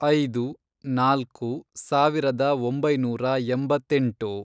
ಐದು, ನಾಲ್ಕು, ಸಾವಿರದ ಒಂಬೈನೂರ ಎಂಬತ್ತೆಂಟು